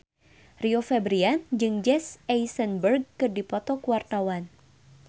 Rio Febrian jeung Jesse Eisenberg keur dipoto ku wartawan